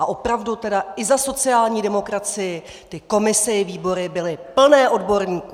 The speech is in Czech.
A opravdu tedy, i za sociální demokracii, ty komise i výbory byly plné odborníků!